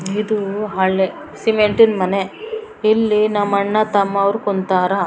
ಇದು ಹಳೆ ಸಿಮಿಂಟಿನ್ ಮನೆ ಇಲ್ಲಿ ನಮ್ಮ್ ಅಣ್ಣ್ ತಮ್ಮಾವ್ರು ಕುಂತಾರ.